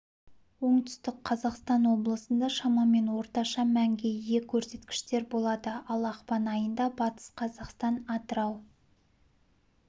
оңтүстік қазақстан облыстарында шамамен орташа мәнге ие көрсеткіштер болады ал ақпан айында батыс қазақстан атырау